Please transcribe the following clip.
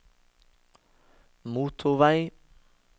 motorvei